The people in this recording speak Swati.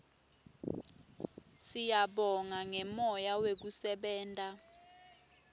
siyabonga ngemoya wekusebenta